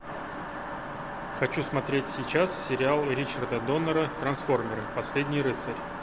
хочу смотреть сейчас сериал ричарда доннера трансформеры последний рыцарь